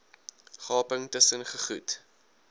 gaping tusen gegoed